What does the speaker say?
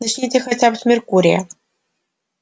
начните хотя бы с меркурия